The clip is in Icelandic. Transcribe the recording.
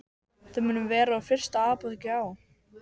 Þau munu vera úr fyrsta apóteki á